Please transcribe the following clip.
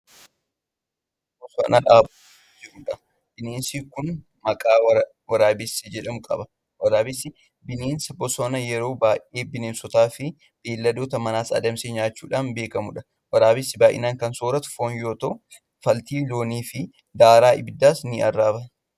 Bineensa bosonaa dhaabachuutti jiruudha. bineensi Kuni maqaa waraabessi jedhamu qaba. waraabessi bineensa bosonaa yeroo baay'ee bineensotaafi beeyladoota manaas adamsee nyaachuudhaan beekamuudha. waraabessi baay'inaan Kan sooratu foon yoo ta'u faltii looniifi daaraa abiddaas ni arraaba.